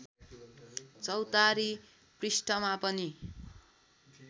चौतारी पृष्ठमा पनि